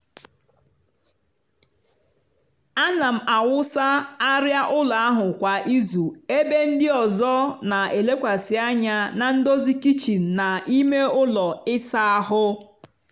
ana m awụsa arịa ụlọ ahụ kwa izu ebe ndị ọzọ na-elekwasị anya na ndozi kichin na ime ụlọ ịsa ahụ.